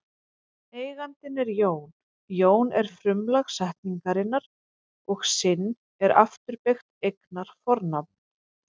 Eigandinn er Jón, Jón er frumlag setningarinnar og sinn er afturbeygt eignarfornafn.